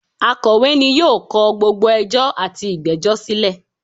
Akọ̀wé ni yóò kọ gbogbo ẹjọ́ àti ìgbẹ́jọ́ silẹ̀